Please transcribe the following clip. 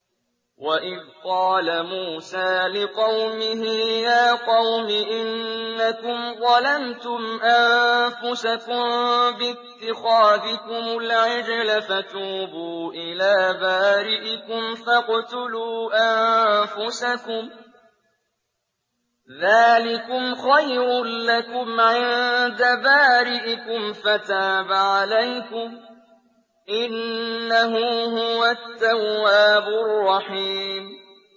وَإِذْ قَالَ مُوسَىٰ لِقَوْمِهِ يَا قَوْمِ إِنَّكُمْ ظَلَمْتُمْ أَنفُسَكُم بِاتِّخَاذِكُمُ الْعِجْلَ فَتُوبُوا إِلَىٰ بَارِئِكُمْ فَاقْتُلُوا أَنفُسَكُمْ ذَٰلِكُمْ خَيْرٌ لَّكُمْ عِندَ بَارِئِكُمْ فَتَابَ عَلَيْكُمْ ۚ إِنَّهُ هُوَ التَّوَّابُ الرَّحِيمُ